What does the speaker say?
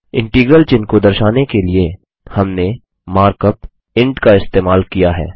integral चिन्ह को दर्शाने के लिए हमने मार्कअप इंट का इस्तेमाल किया है